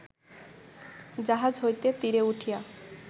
জাহাজ হইতে তীরে উঠিয়া